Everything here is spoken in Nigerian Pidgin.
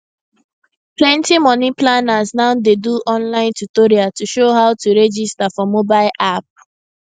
plenty money planners now dey do online tutorial to show how to register for mobile app